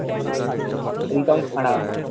Pritam Khara,